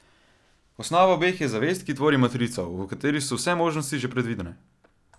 Osnova obeh je zavest, ki tvori matrico, v kateri so vse možnosti že predvidene.